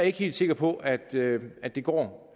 ikke helt sikker på at at det går